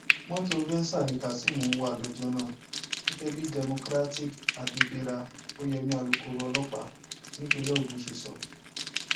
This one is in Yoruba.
mọtò venza ni kazeem ń wá lọjọ náà gẹgẹ bí democratic abibera oyemi alūkkoro ọlọpàá nípínlẹ ogun ṣe sọ